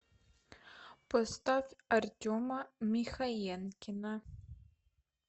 поставь артема михаенкина